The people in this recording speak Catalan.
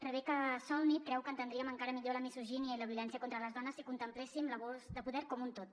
rebecca solnit creu que entendríem encara millor la misogínia i la violència contra les dones si contempléssim l’abús de poder com un tot